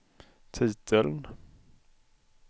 titeln